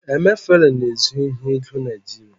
emefele na-ezu ohi ego nigeria